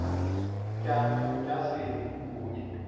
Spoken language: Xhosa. tya tyasini kunye